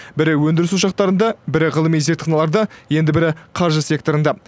бірі өндіріс ошақтарында бірі ғылыми зертханаларда енді бірі қаржы секторында